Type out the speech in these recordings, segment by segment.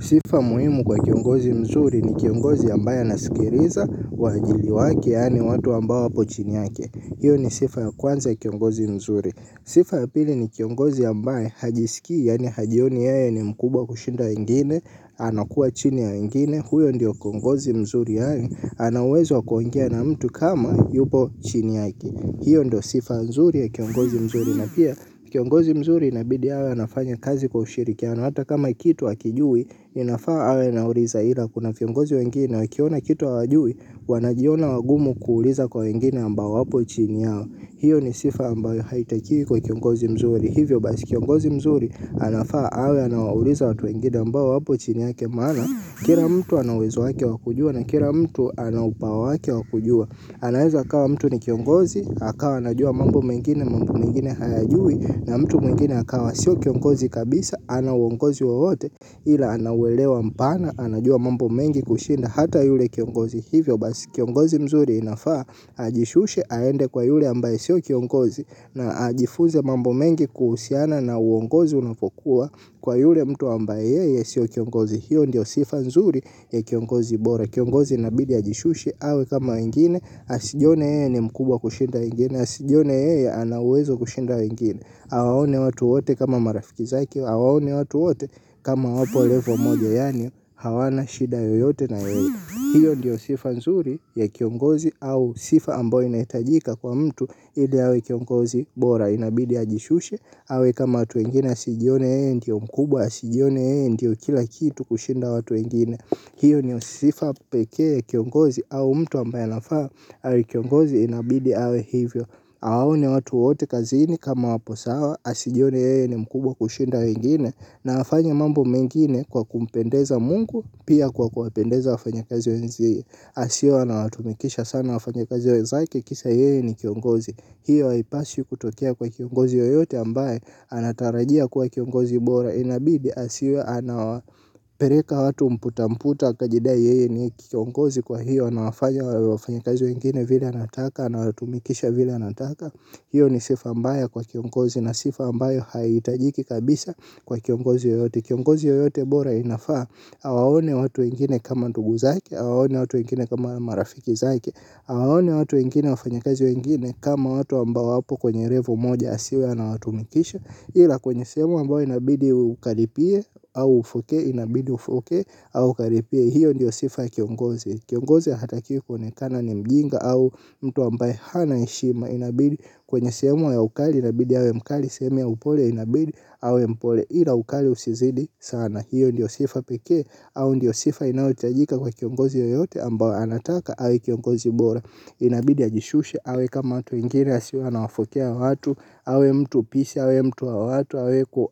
Sifa muhimu kwa kiongozi mzuri ni kiongozi ambaye anasikiriza waajili wake yaani watu ambao wapo chini yake. Hiyo ni sifa ya kwanza ya kiongozi mzuri. Sifa ya pili ni kiongozi ambaye hajiskii yaani hajioni yeye ni mkubwa kushinda wengine, anakuwa chini ya wengine, huyo ndiyo kiongozi mzuri yaani, ana uwezo wa kuongea na mtu kama yupo chini yake. Hiyo ndo sifa nzuri ya kiongozi mzuri na pia kiongozi mzuri inabidi awe anafanya kazi kwa ushirikiano. Hata kama kitu hakijui, inafaa awe anauriza ila kuna viongozi wengine wakiona kitu hawajui, wanajiona wagumu kuuliza kwa wengine ambao wapo chini yao. Hiyo ni sifa ambayo haitakiwi kwa kiongozi mzuri. Hivyo basi kiongozi mzuri, anafaa awe anawauriza watu wengine ambao wapo chini yake maana. Kira mtu ana uwezo wake wa kujua na kira mtu ana upawa wake wa kujua. Anaweza akawa mtu ni kiongozi, akawa anajua mambo mengine mambo mengine hayajui na mtu mwengine akawa sio kiongozi kabisa ana uongozi wowote ila ana uelewa mpana anajua mambo mengi kushinda hata yule kiongozi hivyo basi kiongozi mzuri inafaa ajishushe aende kwa yule ambaye sio kiongozi na ajifunze mambo mengi kuhusiana na uongozi unavokuwa kwa yule mtu ambaye yeye sio kiongozi hiyo ndio sifa nzuri ya kiongozi bora. Kiongozi inabidi ajishushe, awe kama wengine, asijone yeye ni mkubwa kushinda wengine. Asijone yeye ana uwezo kushinda wengine awaone watu wote kama marafiki zake, awaone watu wote kama wapo levo moja. Yaani hawana shida yoyote na yeye. Hiyo ndiyo sifa nzuri ya kiongozi au sifa ambayo inaitajika kwa mtu ili awe kiongozi bora inabidi ajishushe. Awe kama watu wengine, asijone yeye, ndiyo mkubwa, asijone yeye, ndiyo kila kitu kushinda watu wengine. Hiyo ndio sifa pekee ya kiongozi au mtu ambaye anafaa. Awe kiongozi inabidi awe hivyo. Aone watu wote kazini kama wapo sawa. Asijone yeye ni mkubwa kushinda wengine. Na afanye mambo mengine kwa kumpendeza mungu. Pia kwa kuwapendeza wafanyakazi wenzie. Asiwe anawatumikisha sana wafanyakazi wenzake kisa yeye ni kiongozi. Hiyo haipaswi kutokea kwa kiongozi yoyote ambaye anatarajia kuwa kiongozi bora inabidi asiwe anapereka watu mputamputa akajidai yeye ni kiongozi kwa hiyo anawafanya wafanyikazi wengine vile anataka anawatumikisha vile anataka hiyo ni sifa mbaya kwa kiongozi na sifa ambayo haihitajiki kabisa kwa kiongozi yoyote kiongozi yoyote bora inafaa awaone watu wengine kama ndugu zake awaone watu wengine kama marafiki zake awaone watu wengine wafanyikazi wengine kama watu ambao wapo kwenye levo moja asiwe anawatumikisha ila kwenye sehemu ambayo inabidi ukaripie au ufokee inabidi ufokee au ukaripie hiyo ndiyo sifa ya kiongozi kiongozi hatakiwi kuonekana ni mjinga au mtu ambaye hana heshima inabidi kwenye sehemu ya ukali inabidi awe mkali sehemu ya upole inabidi awe mpole ila ukali usizidi sana hiyo ndiyo sifa pekee au ndiyo sifa inayohitajika kwa kiongozi yoyote ambao anataka awe kiongozi bora inabidi ajishushe awe kama watu wengine asiwe anawafokea watu awe mtu peace awe mtu wa watu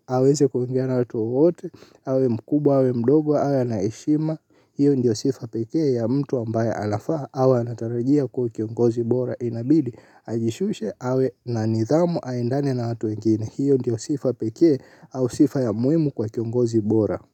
aweze kuongea na watu wowote awe mkubwa awe mdogo awe ana heshima hiyo ndio sifa pekee ya mtu ambaye anafaa awe anatarajia kuwa kiongozi bora inabidi ajishushe awe na nidhamu aendane na watu wengine hiyo ndio sifa pekee au sifa ya muimu kwa kiongozi bora.